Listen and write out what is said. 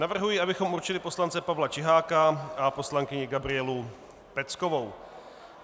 Navrhuji, abychom určili poslance Pavla Čiháka a poslankyni Gabrielu Peckovou.